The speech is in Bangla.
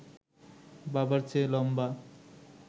বাবার চেয়ে লম্বা